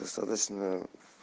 достаточно